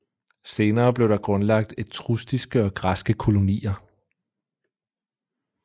Senere blev der grundlagt etruskiske og græske kolonier